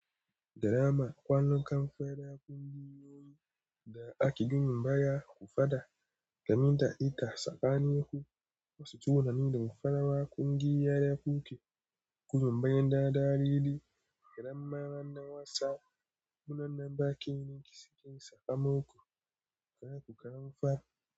Gara ma kwanukan fada kungiyoyin da ake ginin baya ku fada, gamida ita sakanin ku wasu tunani da mafarawa kungiyar da kuke ginin bayan ta dalili. Gara ma wannan wasa munanan bakin ne kisikin sakamako, kar ku kamfa.